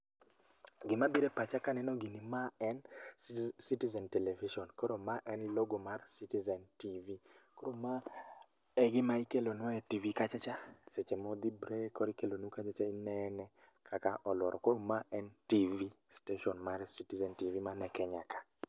Gimabire e pacha kaneno ma en citizen television koro ma en logo mar citizen tv. Koro ma e gima ikelonwa e tv kachacha seche modhi break koro ikelonu kachacha inene kaka olworo koro ma en tv station mar citizen tv man e Kenya ka